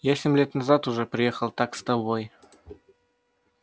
я семь лет назад уже раз приехал так с тобой